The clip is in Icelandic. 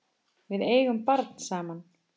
Við eigum barn saman.